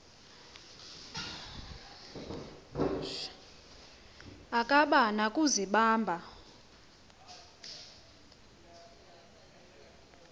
akaba na kuzibamba